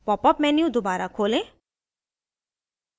popअप menu दोबारा खोलें